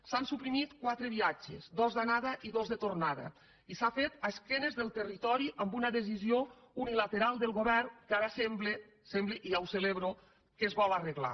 s’han suprimit quatre viatges dos d’anada i dos de tornada i s’ha fet a esquena del territori amb una decisió unilateral del govern que ara sembla sembla i ja ho celebro que es vol arreglar